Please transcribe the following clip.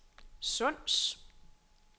Sunds